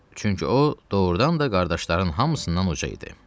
Çünki o doğrudan da qardaşların hamısından uca idi.